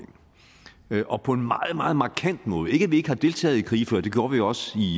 ind og på en meget meget markant måde ikke at vi ikke har deltaget i krige før for det gjorde vi jo også i